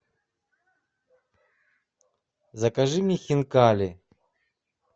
закажи мне хинкали